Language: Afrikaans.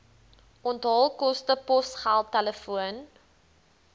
onthaalkoste posgeld telefoon